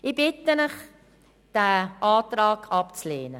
Ich bitte Sie, diesen Antrag abzulehnen.